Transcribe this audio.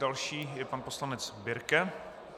Další je pan poslanec Birke.